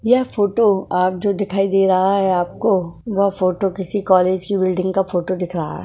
यह फोटो आप जो दिखाई दे रहा है आपको वह फोटो किसी कॉलेज की बिल्डिंग का फोटो दिख रहा है।